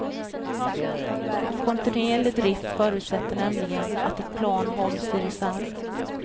Kontinuerlig drift förutsätter nämligen att ett plan hålls i reserv.